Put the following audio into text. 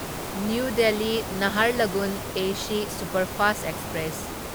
new Delhi ꯅꯍꯥꯔꯂꯒꯨꯟ AC superfast express